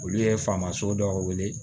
Olu ye faama so dɔw wele